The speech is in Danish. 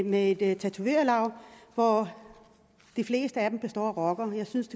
med et tatovørlaug hvor de fleste af dem er rockere jeg synes